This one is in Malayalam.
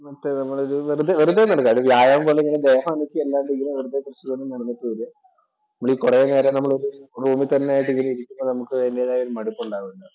നമുക്ക് നമ്മൾ ഒരു വെറുതെ നടക്കുക അല്ലാതെ വ്യായാമം പോലിങ്ങിനെ ദേഹം അനക്കി അല്ലാണ്ട് ഇങ്ങനെ വെറുതെ കുറച്ചു നേരം നടന്നിട്ട് വരുക. നമ്മളി കുറേനേരം നമ്മള് ഒരു റൂമില്‍ തന്നെ ആയിട്ട് ഇങ്ങനെ ഇരിക്കുമ്പോൾ നമുക്ക്അതിന്‍റേതായ ഒരു മടുപ്പ് ഉണ്ടാകുമല്ലോ.